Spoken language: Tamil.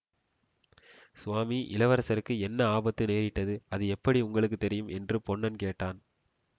சுவாமி இளவரசருக்கு என்ன ஆபத்து நேரிட்டது அது எப்படி உங்களுக்கு தெரியும் என்று பொன்னன் கேட்டான்